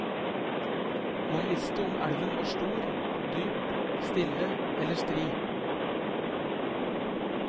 Man visste om elven var stor, dyp, stille eller strid.